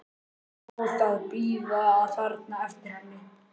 Sjá það bíða þarna eftir henni.